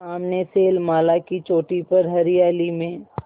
सामने शैलमाला की चोटी पर हरियाली में